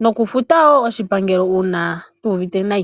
nokufuta oshipangelo uuna tatu ehama.